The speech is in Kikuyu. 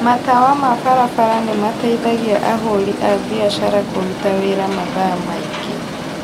Matawa ma barabara nĩmateithagia ahũri a biashara kũruta wĩra mathaa maingĩ